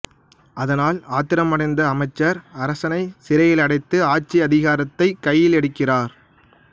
இதனால் ஆத்திரமடைந்த அமைச்சர் அரசனைச் சிறையிலடைத்து ஆட்சி அதிகாரத்தைக் கையிலெடுக்கிறார்